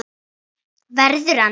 Verður hann.